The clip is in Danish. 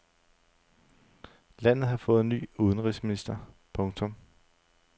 Landet har fået ny udenrigsminister. punktum